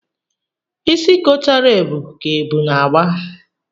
Isi kotara ebu ka ebu na-agba.